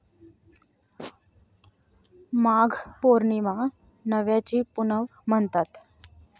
माघ पौर्णिमा 'नव्याची पुनव' म्हणतात.